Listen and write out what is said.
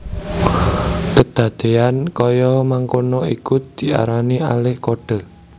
Kedadeyan kaya mangkono iku diarani alih kode